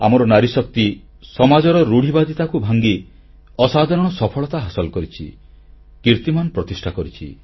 ଆମର ନାରୀଶକ୍ତି ସମାଜର ରୁଢିବାଦିତାକୁ ଭାଙ୍ଗି ଅସାଧାରଣ ସଫଳତା ହାସଲ କରିଛି କୀର୍ତ୍ତିମାନ ପ୍ରତିଷ୍ଠା କରିଛନ୍ତି